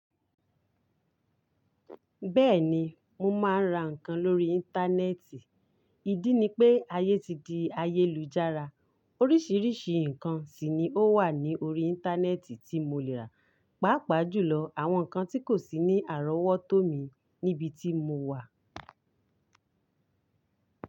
Bẹ́ẹ̀ni, mo máa ń ra nǹkan lórí Íńtánẹ́ẹ̀tì. Ìdí ni pé ayé ti di ayélujára. Oríṣiríṣi nǹkan sì ni ó wà ní orí Íńtánẹ́ẹ̀tì tí mo lè rà. Pàápàá jùlọ àwọn nǹkan tí kò sí ní àrọ́wọ́tó mi níbi tí mo wà.